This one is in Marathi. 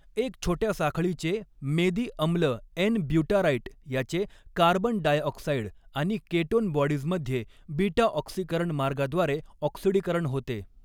एक छोट्या साखळीचे मेदी अम्ल एन ब्युटाराइट याचे कार्बन डायऑक्साइड आनि केटोन बॉडीजमध्ये बीटा ऑक्सीकरण मार्गाद्वारे ऑक्सिडीकरण होते.